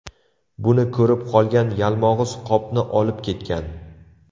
Buni ko‘rib qolgan Yalmog‘iz qopni olib ketgan.